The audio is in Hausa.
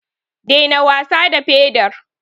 Daina wasa da pedar.